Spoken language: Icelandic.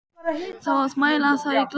Það á að mæla það í gleði.